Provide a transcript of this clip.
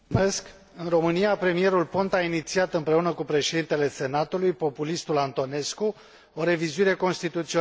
În România, premierul Ponta a inițiat împreună cu președintele Senatului, populistul Antonescu, o revizuire constituțională.